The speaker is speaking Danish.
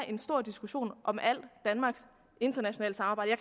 en stor diskussion om alt danmarks internationale samarbejde